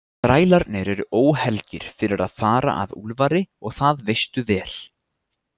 Þrælarnir eru óhelgir fyrir að fara að Úlfari og það veistu vel.